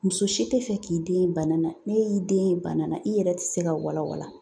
Muso si tɛ fɛ k'i den ye bana na n'e y'i den ye bana na i yɛrɛ tɛ se ka walawala